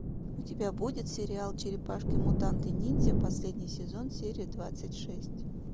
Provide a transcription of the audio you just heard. у тебя будет сериал черепашки мутанты ниндзя последний сезон серия двадцать шесть